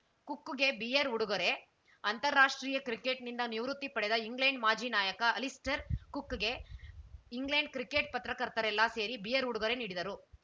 ಕುಕ್‌ಗೆ beer ಉಡುಗೊರೆ ಅಂತರ್ರಾಷ್ಟ್ರೀಯಕ್ರಿಕೆಟ್‌ನಿಂದ ನಿವೃತ್ತಿ ಪಡೆದ ಇಂಗ್ಲೆಂಡ್‌ ಮಾಜಿ ನಾಯಕ ಅಲಿಸ್ಟರ್‌ ಕುಕ್‌ಗೆ ಇಂಗ್ಲೆಂಡ್‌ ಕ್ರಿಕೆಟ್‌ ಪತ್ರಕರ್ತರೆಲ್ಲಾ ಸೇರಿ ಬಿಯರ್‌ ಉಡುಗೊರೆ ನೀಡಿದರು